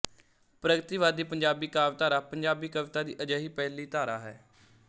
ਪ੍ਰਗਤੀਵਾਦੀ ਪੰਜਾਬੀ ਕਾਵਿਧਾਰਾ ਪੰਜਾਬੀ ਕਵਿਤਾ ਦੀ ਅਜਿਹੀ ਪਹਿਲੀ ਧਰਾ ਹੈ